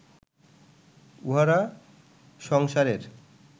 উহারা সংসারের